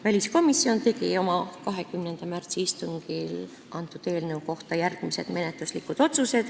Väliskomisjon tegi oma 20. märtsi istungil eelnõu kohta järgmised menetluslikud otsused.